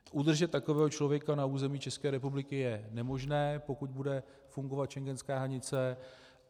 Udržet takového člověka na území České republiky je nemožné, pokud bude fungovat schengenská hranice.